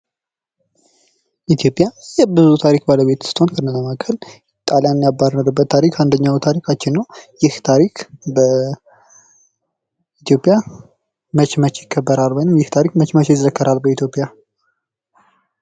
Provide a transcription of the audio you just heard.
ኢትዮጵያ የብዙ ታሪክ ባለቤት ስትሆን ከዚህ መካከል ጣሊያንን ያባረሩበት ታሪክ አንዱ ታሪካችን ነው። ይህ ታሪክ በኢትዮጵያ መቼ መቼ ይከበራል? ወይም ይህ ታሪክ መቼ መቼ ይዘከራል በኢትዮጵያ?